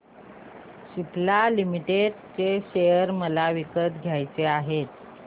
Cipla limited share मला विकत घ्यायचे आहेत